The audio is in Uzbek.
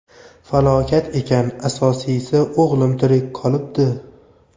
Falokat ekan, asosiysi, o‘g‘lim tirik qolibdi.